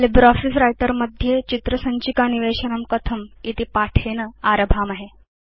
LibreOffice Writer मध्ये चित्र सञ्चिका निवेशनं कथमिति पाठेन आरभामहे